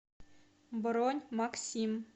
бронь максим